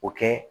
O kɛ